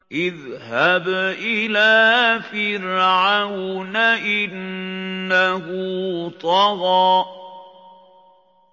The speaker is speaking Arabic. اذْهَبْ إِلَىٰ فِرْعَوْنَ إِنَّهُ طَغَىٰ